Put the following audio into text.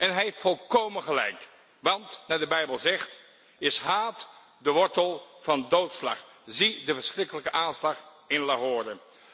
Hij heeft volkómen gelijk want, naar de Bijbel zegt, is haat de wortel van doodslag, zie de verschrikkelijke aanslag in Lahore.